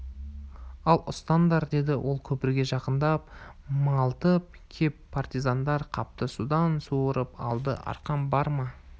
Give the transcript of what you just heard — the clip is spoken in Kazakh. ал ұстаңдар деді ол көпірге жақындап малтып кеп партизандар қапты судан суырып алды арқан бар ма